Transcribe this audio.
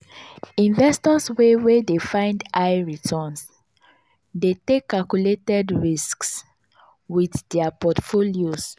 investors wey wey dey find high returns dey take calculated risks with dia portfolios.